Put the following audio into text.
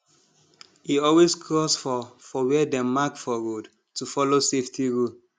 e always cross for for where dem mark for road to follow safety rule